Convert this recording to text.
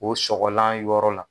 O sɔgɔlan yɔrɔ la